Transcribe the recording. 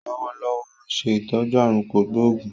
Lọ́wọ́lọ́wọ́ óun ṣe ìtọ́jú aàrùn kò gbóògún